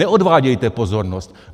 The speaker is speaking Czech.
Neodvádějte pozornost!